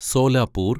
Solapur